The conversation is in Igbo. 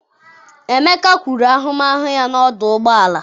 emeka kwuru ahụmahụ ya na ọdụ ụgbọ elu.